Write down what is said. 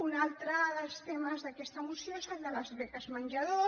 un altre dels temes d’aquesta moció és el de les beques menjador